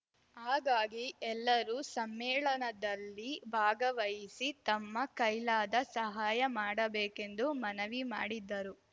ಹಾಗಾಗಿ ಎಲ್ಲರೂ ಸಮ್ಮೇಳನದಲ್ಲಿ ಭಾಗವಹಿಸಿ ತಮ್ಮ ಕೈಲಾದ ಸಹಾಯ ಮಾಡಬೇಕೆಂದು ಮನವಿ ಮಾಡಿದರು